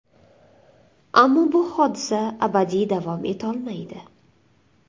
Ammo bu hodisa abadiy davom etolmaydi.